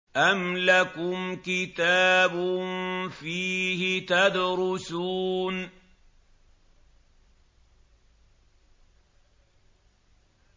أَمْ لَكُمْ كِتَابٌ فِيهِ تَدْرُسُونَ